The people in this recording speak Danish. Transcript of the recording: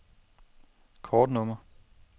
kortnummer